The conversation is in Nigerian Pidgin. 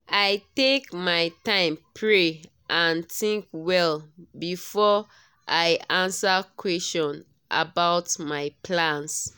i take my time pray and think well before i answer question about my plans.